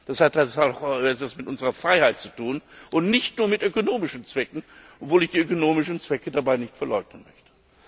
Das hat etwas mit unserer Freiheit zu tun und nicht nur mit ökonomischen Zwecken, obwohl ich die ökonomischen Zwecke dabei nicht verleugnen möchte.